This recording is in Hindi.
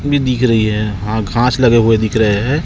में दिख रही है हां घास लगे हुए दिख रहे हैं।